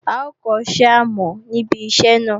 A ó kọ́ iṣẹ́ àmọ̀ ní ibi iṣẹ́ náà